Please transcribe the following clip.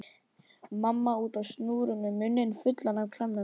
Mamma úti á snúru með munninn fullan af klemmum.